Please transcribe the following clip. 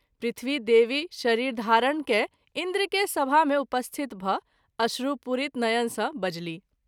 पृथ्वी देवी शरीरधारण कय इंन्द्र के सभा मे उपस्थित भ’ अश्रु पुरित नयन सँ बजलीह।